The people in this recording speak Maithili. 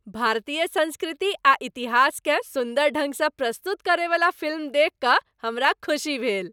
भारतीय संस्कृति आ इतिहासकेँ सुन्दर ढंग सँ प्रस्तुत करयवला फिल्म देखि कऽ हमरा खुशी भेल।